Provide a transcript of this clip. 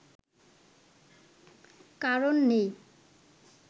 কারণ নেই